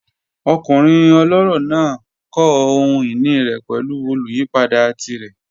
Ọkunrin ọlọrọ naa kọ ohun-ini rẹ pẹlu oluyipada tirẹ.